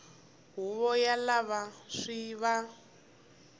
huvo ya lava swi va